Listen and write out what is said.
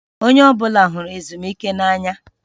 Onye ọbụla hụrụ ezumike n'anya